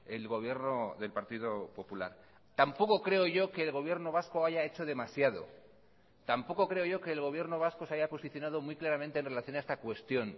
el gobierno del partido popular tampoco creo yo que el gobierno vasco haya hecho demasiado tampoco creo yo que el gobierno vasco se haya posicionado muy claramente en relación a esta cuestión